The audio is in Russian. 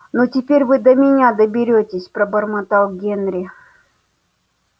ну теперь вы до меня доберётесь пробормотал генри